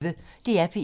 DR P1